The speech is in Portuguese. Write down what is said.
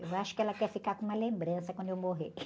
Eu acho que ela quer ficar com uma lembrança quando eu morrer.